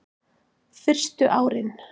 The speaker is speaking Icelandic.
Fyrstu árin